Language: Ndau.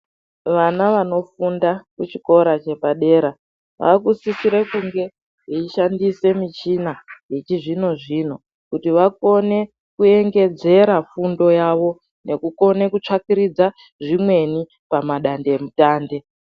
Vana vanofunda kuchikora chepadera vanosisirwe kunge veishandise michina yechizvino zvino kuti vakone kurongedzera fundo yavo nokukone kutsvakiridza zvimweni pamadand emutande.